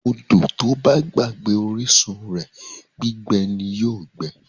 odo to ba gbagbe orisun re, gbigbe ni yoo gbe